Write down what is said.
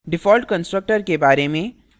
default constructor के बारे में